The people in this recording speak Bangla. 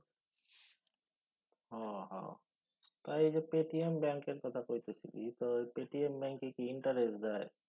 ও হ। তা এই যে পেটিএম ব্যাঙ্কের কথা কইতেছিস ই তয় পেটিএম ব্যাঙ্কে কি interest দেয়?